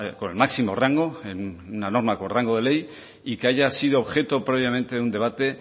con el máximo rango en una norma con rango de ley y que haya sido objeto previamente de un debate